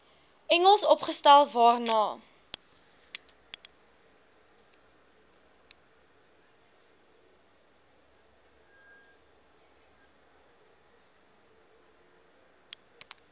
engels opgestel waarna